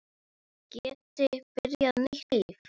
Geti byrjað nýtt líf.